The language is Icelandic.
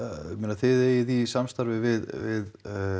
þið eigið í samstarfi við